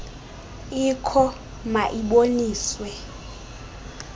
ikho ma iboniswe